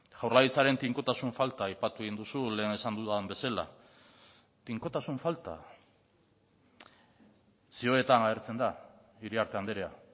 jaurlaritzaren tinkotasun falta aipatu egin duzu lehen esan dudan bezala tinkotasun falta zioetan agertzen da iriarte andrea